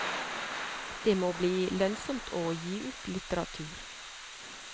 Det må bli lønnsomt å gi ut litteratur.